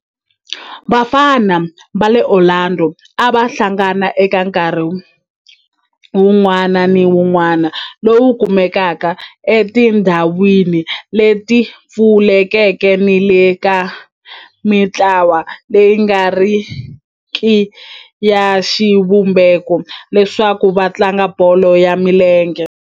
Vafana va le Orlando a va hlangana eka nkarhi wun'wana ni wun'wana lowu kumekaka etindhawini leti pfulekeke ni le ka mintlawa leyi nga riki ya xivumbeko leswaku va tlanga bolo ya milenge.